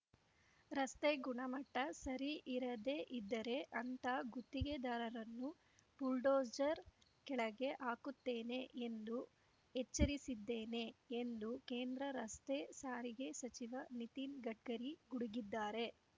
ರಸ್ತೆ ಗುಣಮಟ್ಟಸರಿ ಇರದೇ ಇದ್ದರೆ ಅಂಥ ಗುತ್ತಿಗೆದಾರರನ್ನು ಬುಲ್ಡೋಜರ್‌ ಕೆಳಗೆ ಹಾಕುತ್ತೇನೆ ಎಂದು ಎಚ್ಚರಿಸಿದ್ದೇನೆ ಎಂದು ಕೇಂದ್ರ ರಸ್ತೆ ಸಾರಿಗೆ ಸಚಿವ ನಿತಿನ್‌ ಗಡ್ಕರಿ ಗುಡುಗಿದ್ದಾರೆ